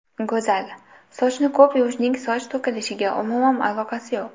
Go‘zal: Sochni ko‘p yuvishning soch to‘kilishiga umuman aloqasi yo‘q.